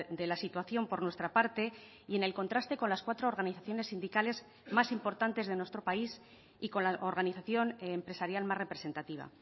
de la situación por nuestra parte y en el contraste con las cuatro organizaciones sindicales más importantes de nuestro país y con la organización empresarial más representativa